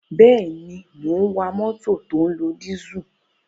Bẹ́ẹ̀ ni, mò ń wa mótò tó ń lo dísù.